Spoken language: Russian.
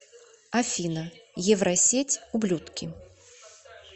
афина евросеть ублюдки